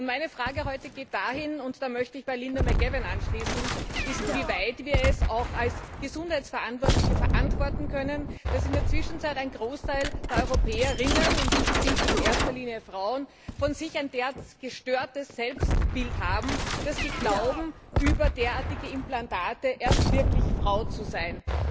Meine Frage heute geht dahin und da möchte ich bei Linda McAvan anschließen wie weit wir es auch als Gesundheitsverantwortliche verantworten können, dass in der Zwischenzeit ein Großteil der Europäer, in erster Linie Frauen, von sich ein so gestörtes Selbstbild haben, dass sie glauben, über derartige Implantate erst wirklich Frau zu sein.